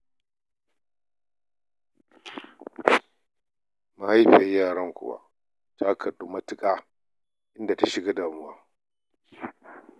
Mahaifiyar yaran kuwa ta kaɗu matuƙa, inda ta shiga cikin damuwa.